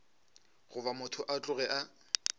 goba motho a tloge a